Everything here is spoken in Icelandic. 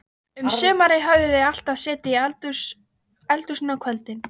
Um sumarið höfðu þau alltaf setið í eldhúsinu á kvöldin.